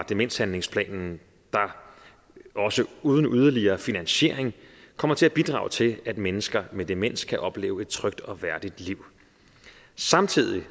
demenshandlingsplanen der også uden yderligere finansiering kommer til at bidrage til at mennesker med demens kan opleve et trygt og værdigt liv samtidig